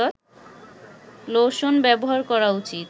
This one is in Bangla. লোশন ব্যবহার করা উচিৎ